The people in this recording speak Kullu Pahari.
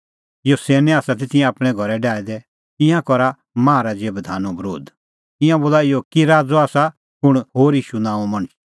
यासोनै आसा तिंयां आपणैं घरै डाहै दै ईंयां करा माहा राज़े बधानो बरोध ईंयां बोला इहअ कि राज़अ आसा कुंण होर ईशू नांओं मणछ